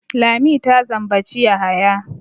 Lami ta zambaci Yahaya.